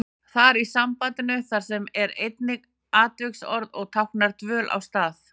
Þar í sambandinu þar sem er einnig atviksorð og táknar dvöl á stað.